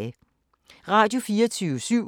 Radio24syv